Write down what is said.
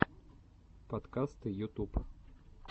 подкасты ютуб